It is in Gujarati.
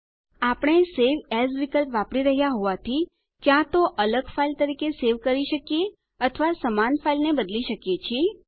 આપણે સવે એએસ વિકલ્પ વાપરી રહ્યા હોવાથી ક્યાં તો અલગ ફાઇલ તરીકે સેવ કરી શકીએ અથવા સમાન ફાઇલને બદલી શકીએ છીએ